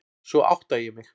Svo átta ég mig.